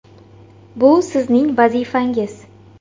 Bu sizning vazifangiz.